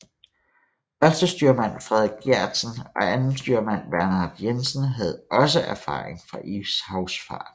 Førstestyrmand Frederik Gjertsen og andenstyrmand Bernhard Jensen havde også erfaring fra ishavsfarten